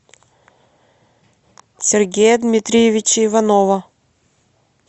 сергея дмитриевича иванова